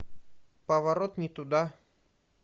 поворот не туда